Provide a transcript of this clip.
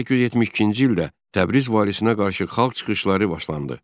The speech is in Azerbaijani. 1872-ci ildə Təbriz valisinə qarşı xalq çıxışları başlandı.